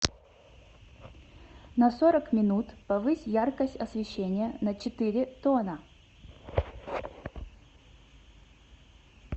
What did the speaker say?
на сорок минут повысь яркость освещения на четыре тона